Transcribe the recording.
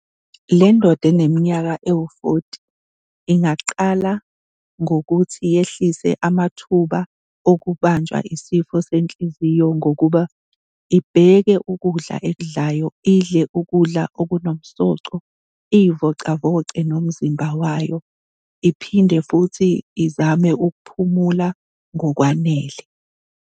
Le ndoda eneminyaka ewu-fourty ingaqala ngokuthi yehlise amathuba okubanjwa yisifo senhliziyo ngokuba ibheke ukudla ekudlayo, idle ukudla okunomsoco, iy'vocavoce nomzimba wayo, iphinde futhi izame ukuphumula ngokwanele.